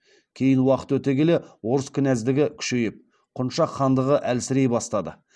кейін уақыт өте келе орыс кінәздігі күшейіп құншақ хандығы әлсірей бастады